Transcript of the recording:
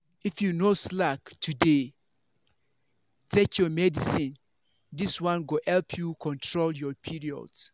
if you no slack to dey take your medicine this one go help you control your period.